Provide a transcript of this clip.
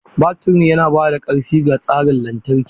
Baturin yana ba da ƙarfi ga tsarin lantarki.